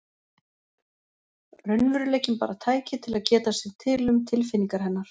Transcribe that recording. Raunveruleikinn bara tæki til að geta sér til um tilfinningar hennar.